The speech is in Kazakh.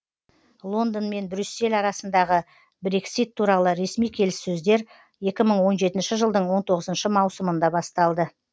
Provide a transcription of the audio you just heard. лондон мен брюссель арасындағы брексит туралы ресми келіссөздер екі мың он жетінші жылдың он тоғызыншы маусымында басталды